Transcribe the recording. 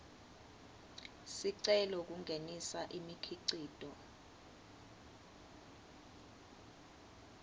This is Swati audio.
sicelo kungenisa imikhicito